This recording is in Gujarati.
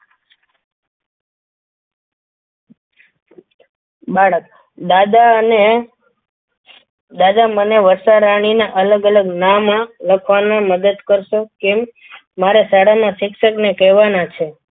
બાળક દાદા એને દાદા મને વર્ષારાણી ના અલગ અલગ નામ લખવામાં મદદ કરશો કેમ મારા શાળાના શિક્ષકને કહેવાના છે.